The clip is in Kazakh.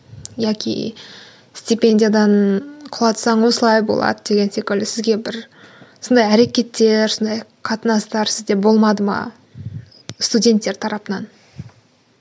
яки степендиядан құлатсаң осылай болады деген секілді сізге бір сондай әрекеттер сондай қатынастар сізде болмады ма студенттер тарапынан